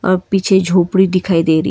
पीछे झोपड़ी दिखाई दे रही--